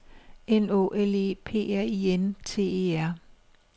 N Å L E P R I N T E R